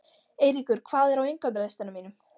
Eyríkur, hvað er á innkaupalistanum mínum?